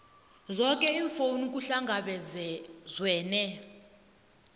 zoke iimfuno kuhlangabezwene